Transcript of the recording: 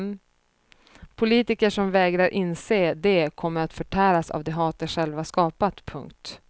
Politiker som vägrar inse det kommer att förtäras av det hat de själva skapat. punkt